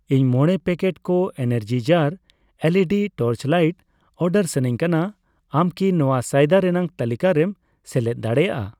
ᱤᱧ ᱢᱚᱲᱮ ᱯᱮᱠᱮᱴ ᱠᱚ ᱮᱱᱟᱨᱡᱤᱡᱟᱨ ᱮᱞᱹᱤᱹᱰᱤ ᱴᱚᱨᱪᱞᱟᱹᱭᱤᱴ ᱚᱰᱟᱨ ᱥᱟᱱᱟᱧ ᱠᱟᱱᱟ, ᱟᱢ ᱠᱤ ᱱᱚᱣᱟ ᱥᱚᱭᱫᱟ ᱨᱮᱱᱟᱜ ᱛᱟᱹᱞᱤᱠᱟ ᱨᱮᱢ ᱥᱮᱞᱮᱫ ᱫᱟᱲᱮᱭᱟᱜᱼᱟ ?